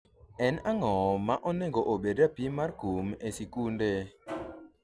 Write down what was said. en ang'o ma onego obed rapim mar kum e sikunde?